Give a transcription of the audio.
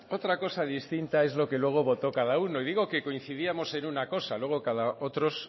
otra cosa distinta es lo que luego votó cada uno y digo que coincidíamos en una cosa luego otros